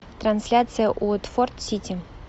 трансляция уотфорд сити